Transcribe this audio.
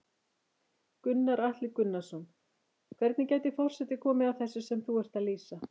Gunnar Atli Gunnarsson: Hvernig gæti forseti komið að þessu sem þú ert að lýsa?